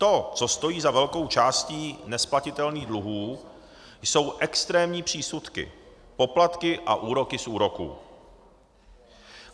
To, co stojí za velkou částí nesplatitelných dluhů, jsou extrémní přísudky, poplatky a úroky z úroků.